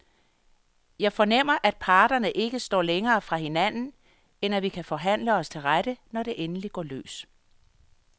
Jeg fornemmer, at parterne ikke står længere fra hinanden, end at vi kan forhandle os til rette, når det endelig går løs.